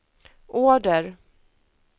order